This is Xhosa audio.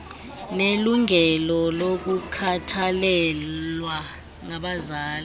nelungelo lokukhathalelwa ngabazali